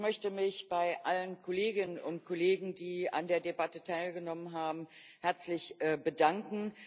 Ich möchte mich bei allen Kolleginnen und Kollegen, die an der Debatte teilgenommen haben, herzlich bedanken.